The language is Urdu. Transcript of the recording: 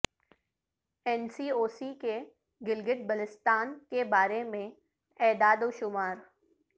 این سی او سی کے گلگت بلتستان کے بارے میں اعداد وشمار